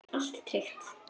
Allt er tryggt.